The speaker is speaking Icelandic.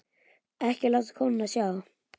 Ekki láta konuna sjá það.